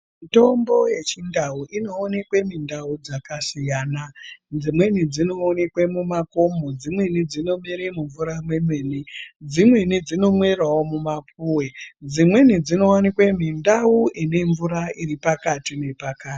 Mutombo yechindau inoonekwa mundau dzakasiyana siyana dzimweni dzinooneka mumakomo dzimweni dzinomerawo mumvura mwemene dzimweni dzinonomerwa mumapuwe dzimweni dzinowanikawo mundau ine mvura iri pakati.